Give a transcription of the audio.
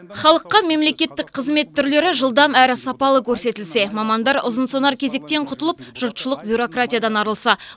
халыққа мемлекеттік қызмет түрлері жылдам әрі сапалы көрсетілсе мамандар ұзынсонар кезектен құтылып жұртшылық бюрократиядан арылса